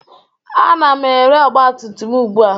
Ana m ere ọgbatumtum m ugbu a